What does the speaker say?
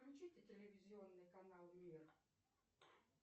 включите телевизионный канал мир